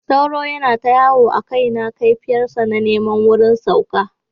Sauro ya yana ta yawo a kaina, kaifiyar sa na neman wurin sauka.